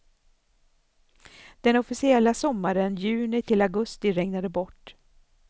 Den officiella sommaren juni till augusti regnade bort.